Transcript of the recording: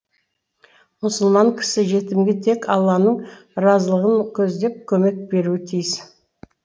мұсылман кісі жетімге тек алланың разылығын көздеп көмек беруі тиіс